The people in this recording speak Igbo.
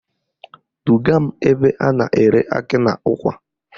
Duga m ebe a na-ere akị na ụkwa